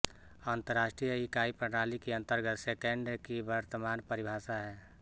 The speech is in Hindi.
अन्तर्राष्ट्रीय इकाई प्रणाली के अन्तर्गत सैकण्ड की वर्तमान परिभाषा है